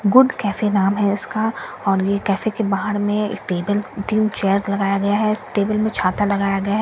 Good cafe नाम है इसका और ये केफे के बाहर में एक टेबिल तीन चेयर लगाया है एक टेबिल में छाता लगाया गया है ।